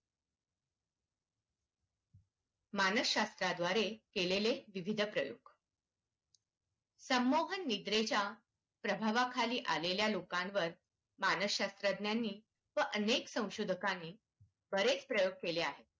मानस शास्त्रा द्वारे केलेले विविध प्रयोग संमोहन निद्रेच्या प्रभावा खाली आलेल्या लोकांवर मानसशास्त्रज्ञांनी व अनेक स्वशोधकांनी बरेच प्रयोग केले आहेत.